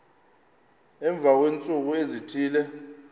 emva kweentsuku ezithile